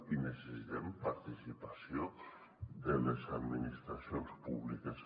i necessitem participació de les administracions públiques